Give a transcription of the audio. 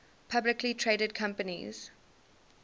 publicly traded companies